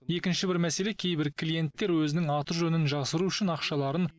екінші бір мәселе кейбір клиенттер өзінің аты жөнін жасыру үшін ақшаларын